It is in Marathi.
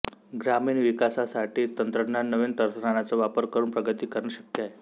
ग्रामीण विकासाठी तंत्रज्ञान नवीन तंत्रज्ञाण्याचा वापर करून प्रगती करणे शक्य आहे